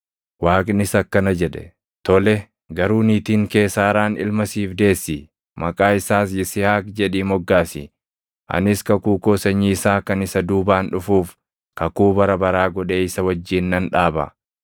Waaqnis akkana jedhe; “Tole; garuu niitiin kee Saaraan ilma siif deessi; maqaa isaas Yisihaaq jedhii moggaasi. Anis kakuu koo sanyii isaa kan isa duubaan dhufuuf kakuu bara baraa godhee isa wajjin nan dhaaba.